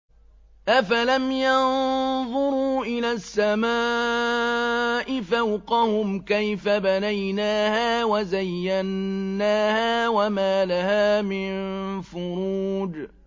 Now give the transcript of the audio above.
أَفَلَمْ يَنظُرُوا إِلَى السَّمَاءِ فَوْقَهُمْ كَيْفَ بَنَيْنَاهَا وَزَيَّنَّاهَا وَمَا لَهَا مِن فُرُوجٍ